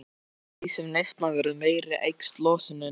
Eftir því sem neyslan verður meiri eykst losunin.